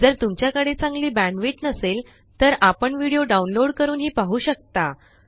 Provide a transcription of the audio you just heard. जर तुमच्याकडे चांगली बॅण्डविड्थ नसेल तर आपण व्हिडिओ डाउनलोड करूनही पाहू शकता